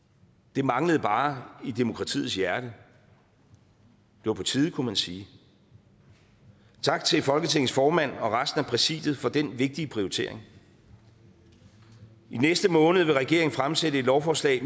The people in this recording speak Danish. det manglede bare i demokratiets hjerte det var på tide kunne man sige tak til folketingets formand og resten af præsidiet for den vigtige prioritering i næste måned vil regeringen fremsætte et lovforslag